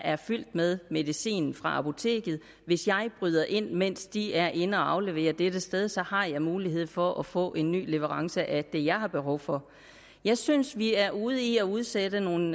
er fyldt med medicin fra apoteket hvis jeg bryder ind mens de er inde at aflevere på dette sted så har jeg mulighed for at få en ny leverance af det jeg har behov for jeg synes vi er ude i at udsætte nogle